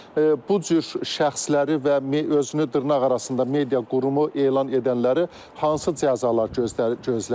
Amma bu cür şəxsləri və özünü dırnaqarası media qurumu elan edənləri hansı cəzalar gözləyir?